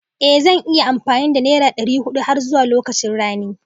Ée zani iya yin amfani da nera ɗari huɗu har zuwa lokacin rani